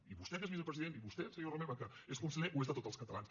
i vostè que és vicepresident i vostè senyor romeva que és conseller ho és de tots els catalans